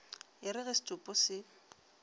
e re ge setopo se